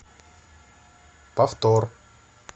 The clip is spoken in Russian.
повтор